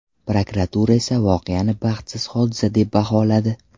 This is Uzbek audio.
Prokuratura esa voqeani baxtsiz hodisa deb baholadi.